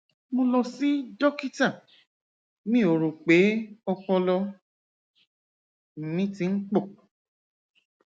mo lọ sí dókítà mi ó rò pé ọpọlọ mi ti ń pọ